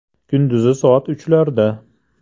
Kunduzi soat uchlarda.